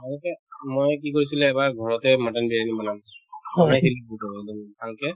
মাজতে মই কি কৰিছিলো এবাৰ ঘৰতে mutton বিৰিয়ানী বনাম ভালকে